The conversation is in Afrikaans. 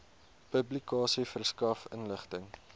publikasie verskaf inligting